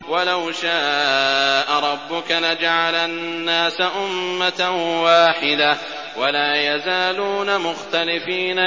وَلَوْ شَاءَ رَبُّكَ لَجَعَلَ النَّاسَ أُمَّةً وَاحِدَةً ۖ وَلَا يَزَالُونَ مُخْتَلِفِينَ